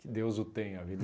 Que Deus o tenha,